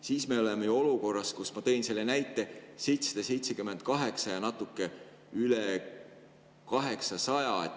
Siis me oleme olukorras, mille kohta ma tõin selle näite: 778 ja natuke üle 800.